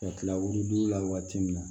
Ka kila wilidon la waati min na